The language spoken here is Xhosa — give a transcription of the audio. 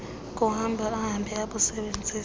kuhamba ahambe abusebenzise